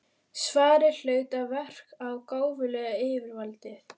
Svarið hlaut að verka gáfulega á yfirvaldið.